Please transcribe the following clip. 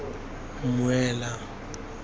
mmuela